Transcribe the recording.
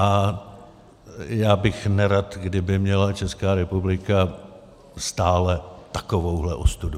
A já bych nerad, kdyby měla Česká republika stále takovouhle ostudu.